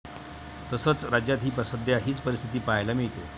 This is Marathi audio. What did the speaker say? तसंच, राज्यात ही सध्या हीच परिस्थिती पाहायला मिळते.